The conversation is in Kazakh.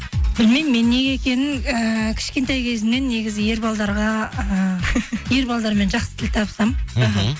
білмеймін мен неге екенін ііі кішкентай кезімнен негізі ііі ер балалармен жақсы тіл табысамын мхм